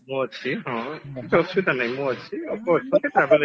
ମୁଁ ଅଛି ହଁ କିଛି ଅସୁବିଧା ନାହିଁ ମୁଁ ଅଛି ଆପଣ travel agent